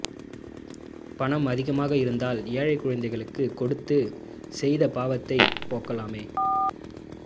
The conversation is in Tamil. பணம் அதிகமாக இருந்தால் ஏழை குழந்தைகளுக்கு கொடுத்து செய்த பாவத்தை போக்கலாமே